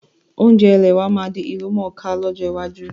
Oúnjẹ ilẹ̀ wa náà máa di ìlú mọ́ ká lọ́jọ́ iwájú